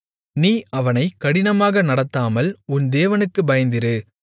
நீ அவனைக் கடினமாக நடத்தாமல் உன் தேவனுக்குப் பயந்திரு